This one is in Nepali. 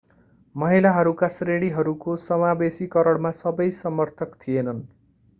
महिलाहरूका श्रेणीहरूको समावेशीकरणमा सबै समर्थक थिएनन्